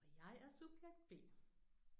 Og jeg er subjekt B